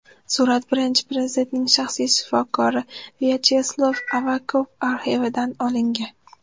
Surat Birinchi Prezidentning shaxsiy shifokori Vyacheslav Avakov arxividan olingan.